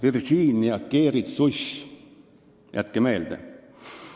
Esiteks, Virginia keeritsuss – jätke meelde!